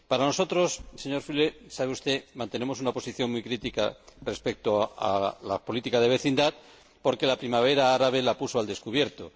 Nosotros, señor Füle, como usted sabe, mantenemos una posición muy crítica respecto a la política de vecindad porque la Primavera árabe la puso al descubierto.